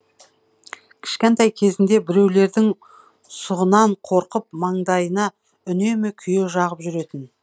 кішкентай кезінде біреулердің сұғынан қорқып маңдайына үнемі күйе жағып жүретін